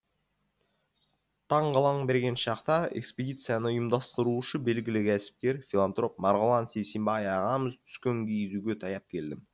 таң қылаң берген шақта экспедицияны ұйымдастырушы белгілі кәсіпкер филантроп марғұлан сейсембай ағамыз түскен киіз үйге таяп келдім